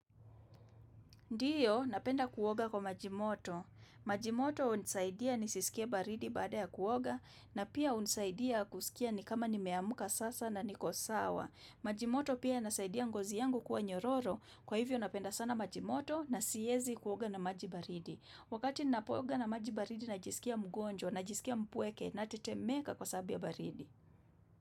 Ndiyo, napenda kuoga kwa maji moto. Maji moto hunisaidia nisisikie baridi baada ya kuoga na pia hunisaidia kusikia ni kama nimeamka sasa na niko sawa. Maji moto pia yanasaidia ngozi yangu kuwa nyororo kwa hivyo napenda sana maji moto na siezi kuoga na maji baridi. Wakati ninapooga na maji baridi najisikia mgonjwa najisikia mpweke natetemeka kwa sababu ya baridi.